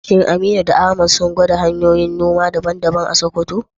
Shin Aminu da Ahmad sun gwada hanyoyin noma daban-daban a Sakkwato?